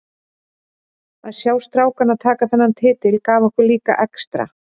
Að sjá strákana taka þennan titil gaf okkur líka extra.